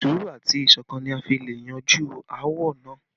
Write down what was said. Sùúrù àti ìṣọ̀kan ni a fi le yanjú áwọ̀ náà